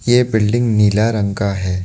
ये बिल्डिंग नीला रंग का है।